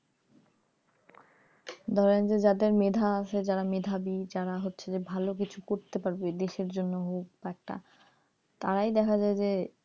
ধরেন যে যাদের মেধা আছে যারা মেধাবী যারা ভালো কিছু করতে পারবে দেশের জন্য হোক একটা বা তারাই দেখা যায় যে,